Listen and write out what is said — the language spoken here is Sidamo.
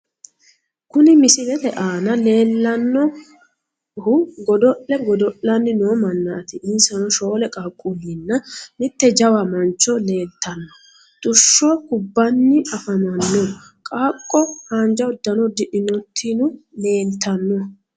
kuni misilete aana leellannohu godo'le godo'lanni noo mannaati, insano shoole qaaqquullinna mitte jawa mancho leeltanno. tushsho kubbanni afamanno ,qaaqqo haanja uddano uddidhinotino leeltanno.